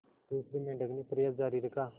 दूसरे मेंढक ने प्रयास जारी रखा